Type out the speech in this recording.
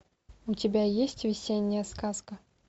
у тебя есть весенняя сказка